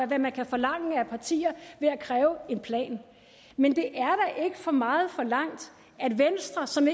hvad man kan forlange af partier ved at kræve en plan men det er da ikke for meget forlangt at venstre som